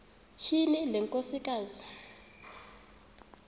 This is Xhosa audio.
tyhini le nkosikazi